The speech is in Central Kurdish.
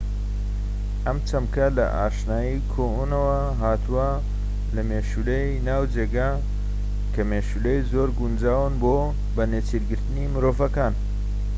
ئەم چەمکە لە ئاشنایی کۆنەوە هاتووە لە مێشولەی ناوجێگا کە مێشولەی زۆر گونجاون بۆ بە نێچیرگرتنی مرۆڤەکان